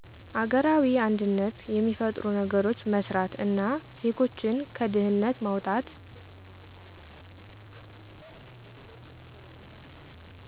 አገራዊ አንድነት የሚፈጥሩ ነገሮች መስራት እና ዜጎችን ከድህነት ማዉጣት